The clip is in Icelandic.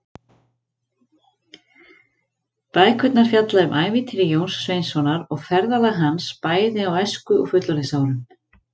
Bækurnar fjalla um ævintýri Jóns Sveinssonar og ferðalög hans, bæði á æsku- og fullorðinsárum.